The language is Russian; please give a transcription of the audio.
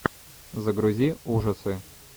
загрузи ужасы